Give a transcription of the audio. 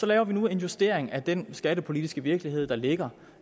laver nu en justering af den skattepolitiske virkelighed der ligger